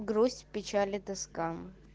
грусть печаль и тоска